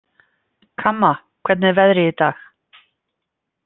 Kamma, hvernig er veðrið í dag?